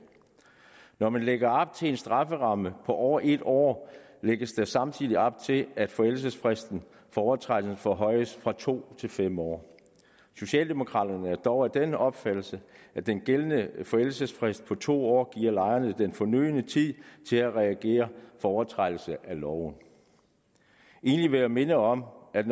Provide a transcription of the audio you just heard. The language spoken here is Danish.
når man lægger op til en strafferamme på over en år lægges der samtidig op til at forældelsesfristen for overtrædelse forhøjes fra to år til fem år socialdemokraterne er dog af den opfattelse at den gældende forældelsesfrist på to år giver lejerne den fornødne tid til at reagere på overtrædelse af loven endelig vil jeg minde om at